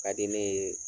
Ka di ne ye